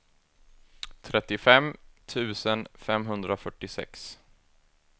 trettiofem tusen femhundrafyrtiosex